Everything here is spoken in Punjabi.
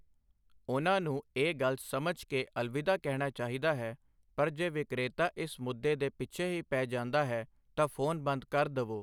ਉਨ੍ਹਾਂ ਨੂੰ ਇਹ ਗੱਲ ਸਮਝ ਕੇ ਅਲਵਿਦਾ ਕਹਿਣਾ ਚਾਹੀਦਾ ਹੈ, ਪਰ ਜੇ ਵਿਕਰੇਤਾ ਇਸ ਮੁੱਦੇ ਦੇ ਪਿੱਛੇ ਹੀ ਪੈ ਜਾਂਦਾ ਹੈ ਤਾਂ ਫੋਨ ਬੰਦ ਕਰ ਦਵੋ I